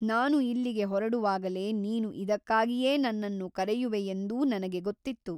ನಾನು ಇಲ್ಲಿಗೆ ಹೊರಡುವಾಗಲೇ ನೀನು ಇದಕ್ಕಾಗಿಯೇ ನನ್ನನ್ನು ಕರೆಯುವೆಯೆಂದೂ ನನಗೆ ಗೊತ್ತಿತ್ತು.